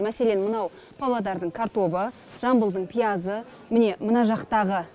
мәселен мынау павлодардың картобы жамбылдың пиязы міне мына жақтағы